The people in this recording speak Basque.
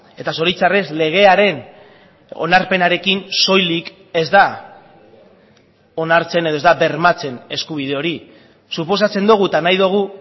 eta zoritxarrez legearen onarpenarekin soilik ez da onartzen edo ez da bermatzen eskubide hori suposatzen dugu eta nahi dugu